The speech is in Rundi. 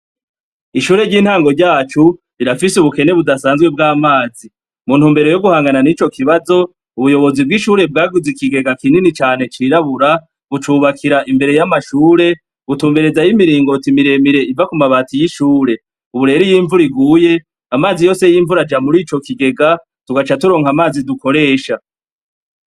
Ishure ryintango ryacu rirafise ubukene budasanzwe bwamazi mu ntumbero yo guhanga nico kibazo ubuyobozi bwishure bwaguze ikigega kinini cane cirabura bucubakira imbere yamashure icubakira nimiringoti miremire iva kumabati yishure ubu rero iyo imvura iguye amazi yose yimvura aja murico kigega tukaca turonka amazi dukoresha